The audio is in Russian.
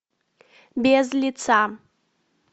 без лица